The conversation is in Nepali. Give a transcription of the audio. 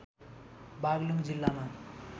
बागलुङ जिल्लामा